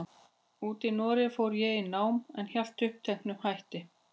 úti í Noregi fór ég í nám, en hélt uppteknum hætti.